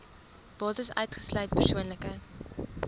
bates uitgesluit persoonlike